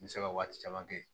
N bɛ se ka waati caman kɛ